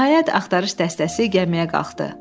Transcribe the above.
Nəhayət axtarış dəstəsi gəmiyə qalxdı.